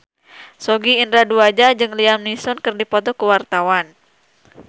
Sogi Indra Duaja jeung Liam Neeson keur dipoto ku wartawan